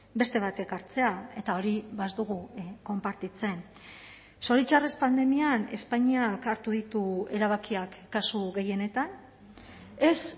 beste batek hartzea eta hori ez dugu konpartitzen zoritxarrez pandemian espainiak hartu ditu erabakiak kasu gehienetan ez